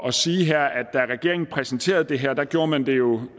at sige her at da regeringen præsenterede det her gjorde man det jo